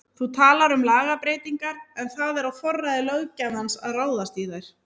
Þú talar um lagabreytingar en það er á forræði löggjafans að ráðast í þær?